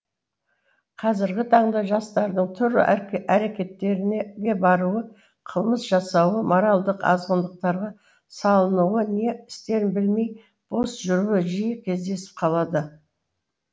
қазіргі таңда жастардың түрлі әрекеттеріне баруы қылмыс жасауы моралдық азғындықтарға салынуы не істерін білмей бос жүруі жиі кездесіп қалады